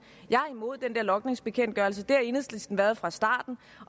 jeg er imod den der logningsbekendtgørelse det har enhedslisten været fra starten